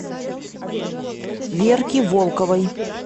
верки волковой